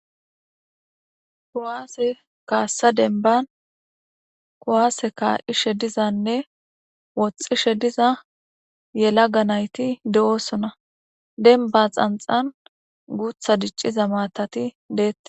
kuwaase kaassa denbban kuwaase kaa'ishe dizanne woxxishe diza yelaga nayti de'osona. denbba xanxxan guutha dicciza maatati deettees.